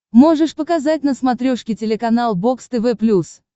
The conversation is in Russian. можешь показать на смотрешке телеканал бокс тв плюс